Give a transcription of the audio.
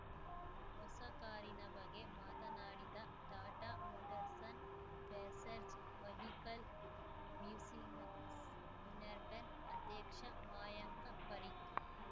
ಹೊಸ ಕಾರಿನ ಬಗ್ಗೆ ಮಾತನಾಡಿದ ಟಾಟಾ ಮೋಟರ್ಸ್‌ನ್ನ್ ಪ್ಯಾಸೆಂಜರ್‌ ವೆಹಿಕಲ್‌ ಬ್ಯುಸಿನೆಸ್‌ ಯುನಿರ್ಟನ್ ಅಧ್ಯಕ್ಷ ಮಾಯಾಂಕ ಪರೀಕ್‌